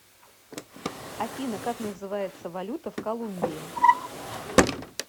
афина как называется валюта в колумбии